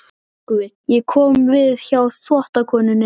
TRYGGVI: Ég kom við hjá þvottakonunni.